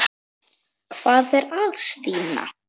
Hvað er að Stína?